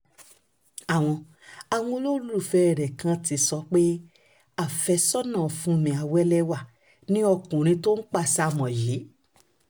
àwọn àwọn olólùfẹ́ rẹ̀ kan ti ń sọ pé àfẹ́sọ́nà fúnmi àwẹ́lẹ́wà ni ọkùnrin tó ń pàṣàmọ̀ mọ́ yìí